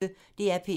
DR P1